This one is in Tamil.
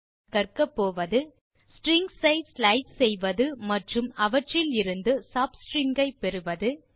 இந்த டுடோரியலின் முடிவில் செய்ய முடிவது ஸ்ட்ரிங்ஸ் ஐ ஸ்லைஸ் செய்வ்வது மற்றும் அவற்றிலிருந்து sub ஸ்ட்ரிங்ஸ் ஐ பெறுவது